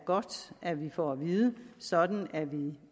godt at vi får at vide sådan at vi